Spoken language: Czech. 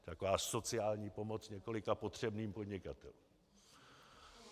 Taková sociální pomoc několika potřebným podnikatelům.